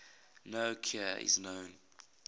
no cure is known